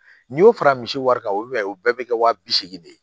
N'i y'o fara misi wari kan o b'a ye o bɛɛ bɛ kɛ wa bi seegin de ye